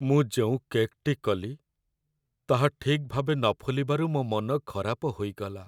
ମୁଁ ଯେଉଁ କେକ୍‌ଟି କଲି ତାହା ଠିକ୍ ଭାବେ ନ ଫୁଲିବାରୁ ମୋ ମନ ଖରାପ ହୋଇଗଲା।